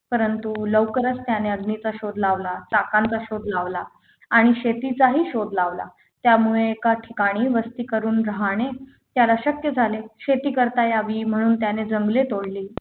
परंतु त्यांनी लवकरत्याने अग्नीचा शोध लावला चाकांचा शोध लावला आणि शेतीचाही शोध लावला त्यामुळे एका ठिकाणी वस्ती करून राहणे त्याला शक्य झाले शेती करता यावी म्हणून त्यांनी जंगली तोडली